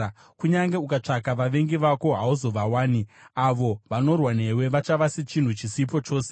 Kunyange ukatsvaka vavengi vako, hauzovawani. Avo vanorwa newe vachava sechinhu chisipo chose.